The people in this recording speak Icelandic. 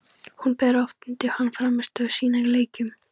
Hún ber oft undir hann frammistöðu sína í leikjum.